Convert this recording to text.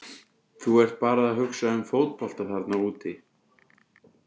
Þú ert bara að hugsa um fótbolta þarna úti.